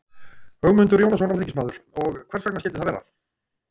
Ögmundur Jónasson, alþingismaður: Og hvers vegna skildi það vera?